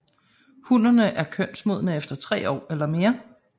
Hunnerne er kønsmodne efter tre år eller mere